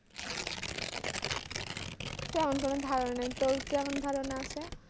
তেমন কোনো ধারণা নেই তোর কেমন ধারণা আছে?